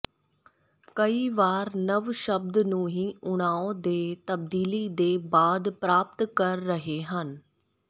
ਕਈ ਵਾਰ ਨਵ ਸ਼ਬਦ ਨੂੰ ਹੀ ਤਣਾਅ ਦੇ ਤਬਦੀਲੀ ਦੇ ਬਾਅਦ ਪ੍ਰਾਪਤ ਕਰ ਰਹੇ ਹਨ